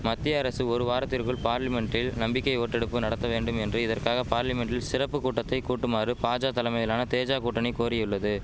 மத்திய அரசு ஒரு வாரத்திற்குள் பார்லிமென்ட்டில் நம்பிக்கை ஓட்டெடுப்பு நடத்த வேண்டும் என்றும் இதற்காக பார்லிமென்ட்டில் சிறப்பு கூட்டத்தை கூட்டுமாறு பாஜா தலைமையிலான தேஜா கூட்டணி கோரியுள்ளது